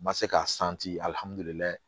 N ma se ka